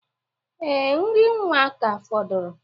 Ee, nri nwa ka fọdụrụ.